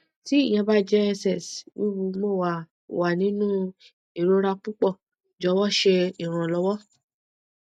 ti iyẹn ba jẹ ess wiwu mo wa wa ninu irora pupọ jọwọ ṣe iranlọwọ